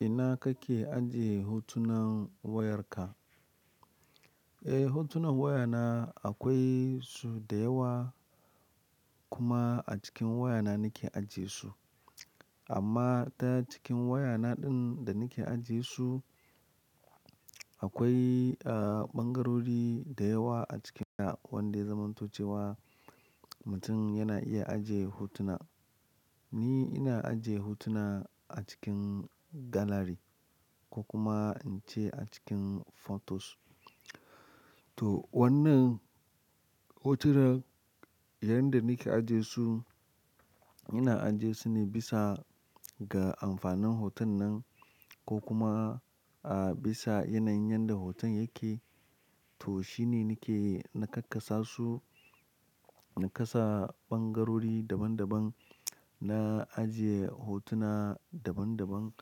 Ina kake ajiye hotunan wayarka? Eh, hotunan wayana akwai su da yawa kuma a cikin wayana nake ajiyesu. Amma ta cikin wayana ɗin da nake ajiyesu, akwai, ah, ɓangarori da yawa a cikinta wanda ya zamanto cewa mutum yana iya ajiye hotuna. Ni ina ajiye hotuna a cikin gallery ko kuma in ce a cikin photos. To wannan hotunan, yanda nake ajiyesu, ina ajiyesu ne bisa ga amfanin hoton nan ko kuma, ah, bisa yanayin yanda hoton yake. To shine nake na kakkasa su, na kasa ɓangarori daban daban, na ajiye hotuna daban daban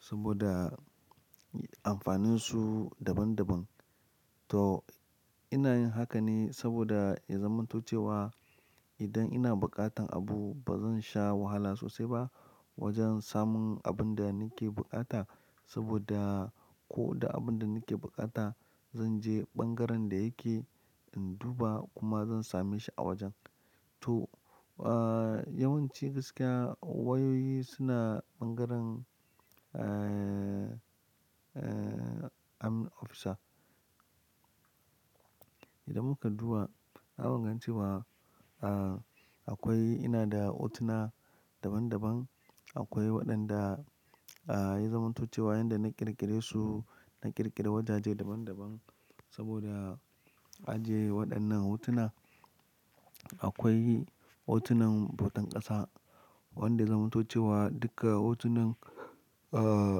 saboda amfaninsu daban daban. To ina yin haka ne saboda iya zamanto cewa idan ina buƙatan abu ba zan sha wahala sosai ba wajen samun abin da nake buƙata saboda ko da abin da nake buƙata, zan je ɓangaren da yake in duba kuma zan same shi a wajen. To, ah, yawanci gaskiya wayoyi suna ɓangaren, eh, eh, admin officer. Idan muka duba, zamu gan cewa, ah, akwai ina da hotuna daban daban. Akwai waɗanda, ah, ya zamanto cewa yanda na ƙirƙire su, na ƙirƙira wajaje daban daban saboda ajiye waɗannan hotuna. Akwai hotunan bautan ƙasa wanda ya zamanto cewa duka hotunan, ah,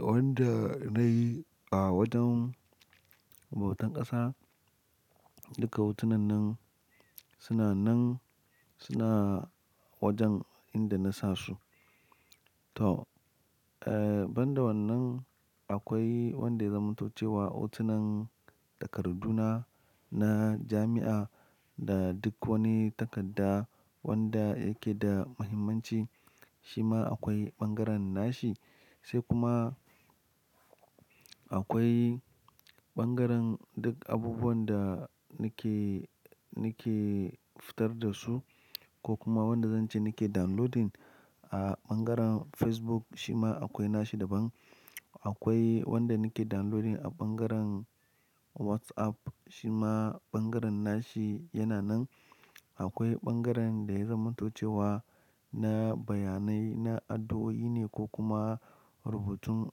wanda nayi a wajen bautan ƙasa duka hotunan nan suna nan, suna wajen inda na sa su. To, eh, ban da wannan, akwai wanda ya zamanto cewa hotunan takardu na, na jami'a da duk wani takadda wanda yake da muhimmanci, shi ma akwai ɓangaren nashi. Sai kuma akwai ɓangaren duk abubuwan da nake, nake fitar da su ko kuma wanda zan ce nake downloading a ɓangaren Facebook, shi ma akwai nashi daban. Akwai wanda nake downloading a ɓangaren WhatsApp, shi ma ɓangaren nashi yana nan. Akwai ɓangaren da ya zamantocewa na bayanai, na addu'o'i ne ko kuma rubutun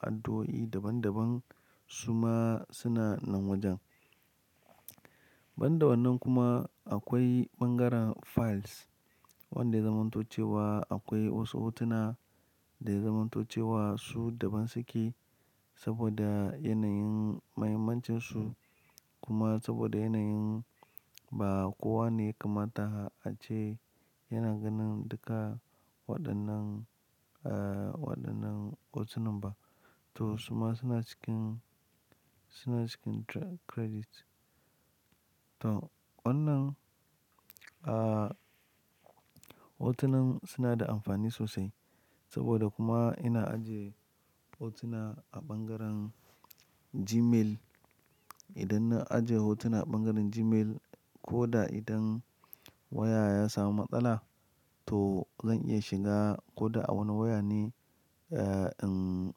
addu'o'i daban daban, su ma suna nan wajen. Ban da wannan kuma akwai ɓangaren files wanda ya zamanto cewa akwai wasu hotuna da ya zamanto cewa su daban su ke saboda yanayin muhimmancin su kuma saboda yanayin ba kowa ne ya kamata a ce yana ganin duka waɗannan, ah, waɗannan hotunan ba. To su ma suna cikin, suna cikin credit. To wannan, ah, hotunan suna da amfani sosai saboda kuma ina ajiye hotuna a ɓangaren Gmail. Idan na ajiye hotuna a ɓangaren Gmail ko da idan waya ya samu matsala, to zan iya shiga ko da a wani waya ne, eh, in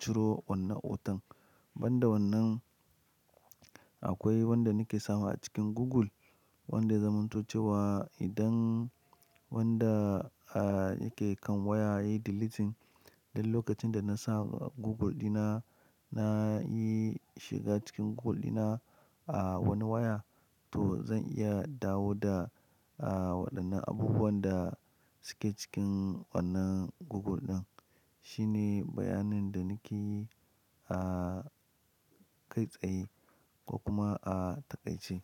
ciro wannan hoton. Ban da wannan, akwai wanda nake sawa a cikin Google wanda ya zamanto cewa idan wanda, ah, yake kan waya ya yi deleting, duk lokacin da na sa a Google ɗina, na yi shiga cikin Google ɗina a wani waya, to zan iya dawo da, ah, waɗannan abubuwan da suke cikin wannan Google ɗin. Shine bayanin da nake yi a kai tsaye ko kuma a taƙaice.